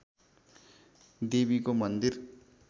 देवीको मन्दिर